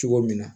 Cogo min na